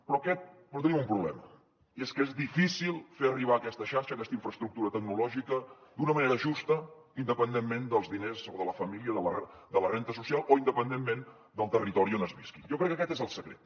però tenim un problema i és que és difícil fer arribar aquesta xarxa aquesta infraestructura tecnològica d’una manera justa independentment dels diners o de la família de la renda social o independentment del territori on es visqui jo crec que aquest és el secret